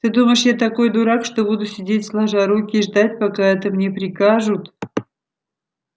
ты думаешь я такой дурак что буду сидеть сложа руки и ждать пока это мне прикажут